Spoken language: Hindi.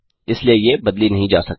इसलिए ये बदली नहीं जा सकती